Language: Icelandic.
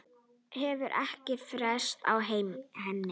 Hefur ekkert frést af henni?